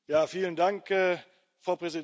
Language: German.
Frau Präsidentin, Herr Kommissar!